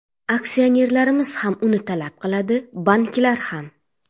Aksionerlarimiz ham uni talab qiladi, banklar ham.